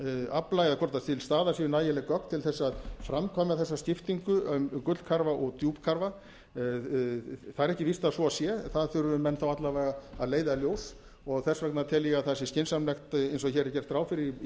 afla eða hvort til staðar séu nægileg gögn til þess að framkvæma þessa skiptingu um gullkarfa og djúpkarfa það er ekki víst að svo sé það þurfa menn þá alla vega að leiða í ljós og þess vegna tel ég að það sé skynsamlegt eins og hér er gert ráð fyrir í